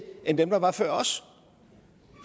end dem der var før os